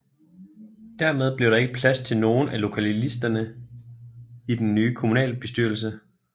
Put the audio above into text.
Dermed blev der ikke plads til nogen af lokallisterne i den nye kommunalbestyrelse